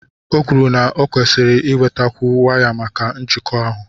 O kwuru na m nkwesiri inwetakwu waya maka njikọ ahụ.